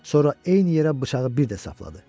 Sonra eyni yerə bıçağı bir də sapladı.